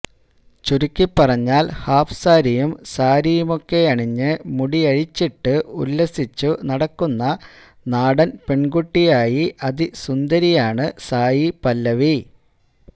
ചുരുക്കിപ്പറഞ്ഞാൽ ഹാഫ് സാരിയും സാരിയുമൊക്കെയണിഞ്ഞ് മുടിയഴിച്ചിട്ട് ഉല്ലസിച്ചു നടക്കുന്ന നാടൻ പെൺകുട്ടിയായി അതിസുന്ദരിയാണ് സായി പല്ലവി